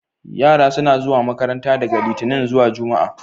Yara suna zuwa makaranta daga Litinin zuwa jumma'a.